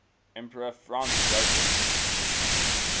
emperor franz joseph